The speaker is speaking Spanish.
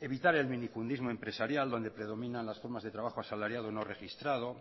evitar el minifundismo empresarial donde predominan las formas de trabajo asalariado no registrado